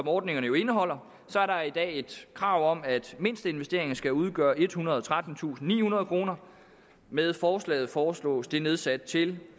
ordningerne jo indeholder er der i dag krav om at mindsteinvesteringen skal udgøre ethundrede og trettentusindnihundrede kroner med forslaget foreslås det nedsat til